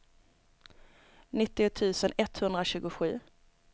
nittio tusen etthundratjugosju